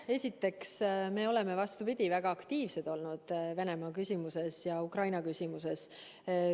Esiteks, me oleme, vastupidi, väga aktiivsed olnud Venemaa küsimuses ja Ukraina küsimuses.